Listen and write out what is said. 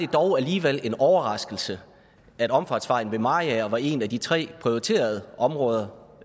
dog alligevel en overraskelse at omfartsvejen ved mariager var en af de tre prioriterede områder